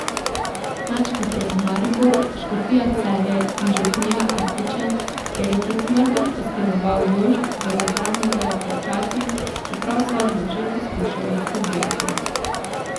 Nadškofija Maribor, škofija Celje in župnija Artiče, kjer je pred smrtjo pastiroval Jošt, bodo zdaj morale plačati, čeprav sodbo že poskušajo izpodbijati.